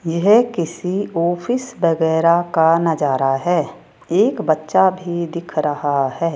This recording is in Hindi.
यह किसी ऑफिस वगैरा का नजारा है एक बच्चा भी दिख रहा है।